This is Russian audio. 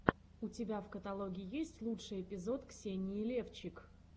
у тебя в каталоге есть лучший эпизод ксении левчик